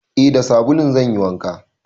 Eh da sabulun zan yi wanka.